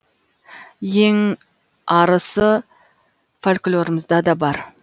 ең арысы фольклорымызда да бар